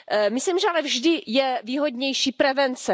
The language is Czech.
Myslím, že ale vždy je výhodnější prevence.